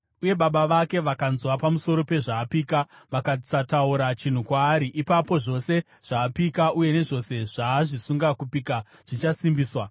uye baba vake vakanzwa pamusoro pezvaapika, vakasataura chinhu kwaari, ipapo zvose zvaapika uye nezvose zvaazvisunga kupika zvichasimbiswa.